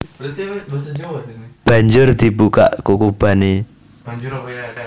Banjur dibukak kukubané